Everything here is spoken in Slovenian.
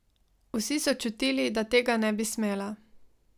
Vsi so čutili, da tega ne bi smela.